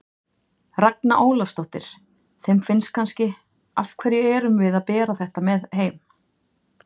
Ragna Ólafsdóttir: Þeim finnst kannski, af hverju erum við að bera með þetta heim?